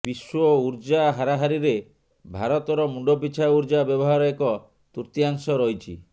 ବିଶ୍ୱ ଉର୍ଜା ହାରାହାରିରେ ଭାରତର ମୁଣ୍ଡ ପିଛା ଉର୍ଜା ବ୍ୟବହାର ଏକ ତୃତୀୟାଂଶ ରହିଛି